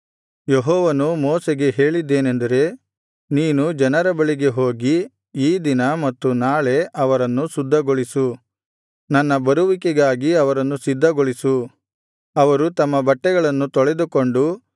ಯೆಹೋವನು ಮೋಶೆಗೆ ಹೇಳಿದ್ದೇನೆಂದರೆ ನೀನು ಜನರ ಬಳಿಗೆ ಹೋಗಿ ಈ ದಿನ ಮತ್ತು ನಾಳೆ ಅವರನ್ನು ಶುದ್ಧಗೊಳಿಸು ನನ್ನ ಬರುವಿಕೆಗಾಗಿ ಅವರನ್ನು ಸಿದ್ಧಗೊಳಿಸು ಅವರು ತಮ್ಮ ಬಟ್ಟೆಗಳನ್ನು ತೊಳೆದುಕೊಂಡು